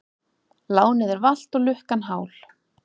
Lánið er valt og lukkan hál.